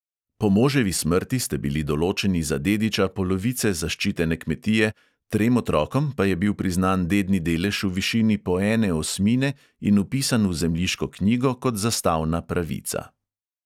Po moževi smrti ste bili določeni za dediča polovice zaščitene kmetije, trem otrokom pa je bil priznan dedni delež v višini po ene osmine in vpisan v zemljiško knjigo kot zastavna pravica.